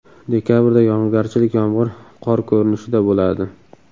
Dekabrda yog‘ingarchilik yomg‘ir qor ko‘rinishida bo‘ladi.